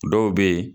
Dɔw bɛ yen